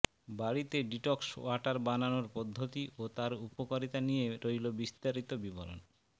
বাড়িতে detox water বানানোর পদ্ধতি ও তার উপকারিতা নিয়ে রইল বিস্তারিত বিবরণ